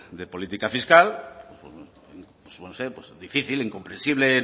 de política fiscal pues no sé difícil incomprensible